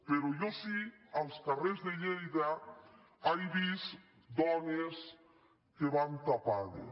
però jo sí als carrers de lleida he vist dones que van tapades